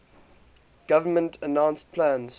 government announced plans